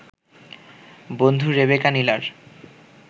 বন্ধু রেবেকা নীলার